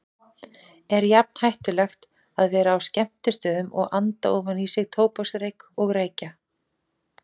Er jafn hættulegt að vera á skemmtistöðum og anda ofan í sig tóbaksreyk og reykja?